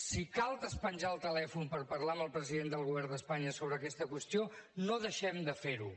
si cal despenjar el telèfon per parlar amb el president del govern d’espanya sobre aquesta qüestió no deixem de fer ho